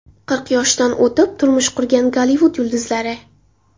Qirq yoshdan o‘tib turmush qurgan Gollivud yulduzlari.